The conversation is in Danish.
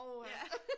Åha